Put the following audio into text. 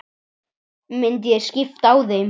Myndi ég skipta á þeim?